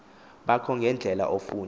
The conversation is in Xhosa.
bakho ngendlela ofuna